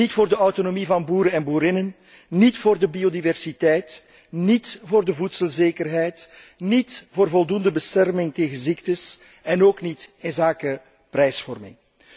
Niet voor de autonomie van boeren en boerinnen, niet voor de biodiversiteit, niet voor de voedselzekerheid, niet voor voldoende bescherming tegen ziektes en ook niet voor de prijsvorming.